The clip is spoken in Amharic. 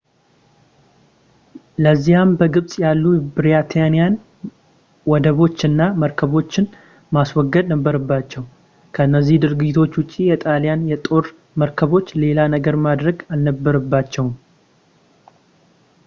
ለዚያም በግብጽ ያሉ የብሪታኒያን ወደቦች እና መርከቦችን ማስወገድ ነበረባቸው ከነዚህ ድርጊቶች ውጪ የጣልያን የጦር መርከቦች ሌላ ነገር ማድረግ አልነበረባቸውም